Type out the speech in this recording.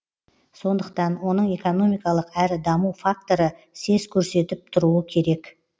сондықтан оның экономикалық әрі даму факторы сес көрсетіп тұруы керек